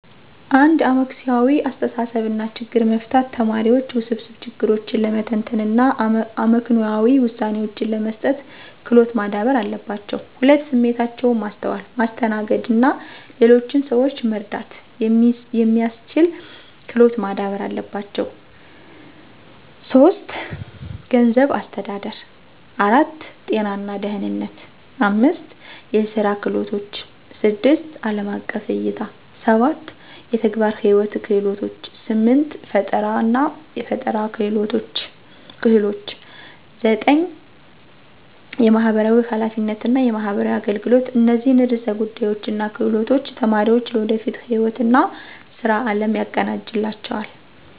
1. አመክንዮአዊ አስተሳሰብ እና ችግር መፍታት ተማሪዎች ውስብስብ ችግሮችን ለመተንተን እና አመክንዮአዊ ውሳኔዎችን ለመስጠት ክሎት ማዳበር አለባቸው። 2. ስሜታቸውን ማስተዋል፣ ማስተናገድ እና ሌሎችን ሰዎች መረዳት የሚስችል ክሎት ማዳበር አለባቸው። 3. ገንዘብ አስተዳደር 4. ጤና እና ደህነነት 5. የስራ ክህሎቶችን 6. አለም አቀፍ እይታ 7. የተግባር ህይዎት ክህሎቶች 8. ፈጠራናፈጠራ ክህሎች 9. የማህበራዊ ሐላፊነት እና የማህበራዊ አገልገሎት እነዚህን ዕርሰ ጉዳዮች እና ክህሎቶች ተማሪዎች ለወደፊት ህይዎት እና ስራ አለም ያቀዳጅላቸዋል።